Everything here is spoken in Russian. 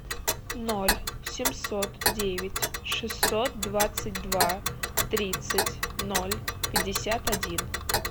ноль семьсот девять шестьсот двадцать два тридцать ноль пятьдесят один